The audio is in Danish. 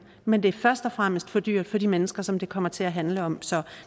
men det er først og fremmest for dyrt for de mennesker som det kommer til at handle om så